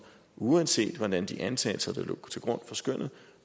uanset hvordan de antagelser der lå til grund for skønnet